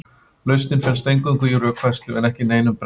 lausnin felst eingöngu í rökfærslu en ekki neinum brellum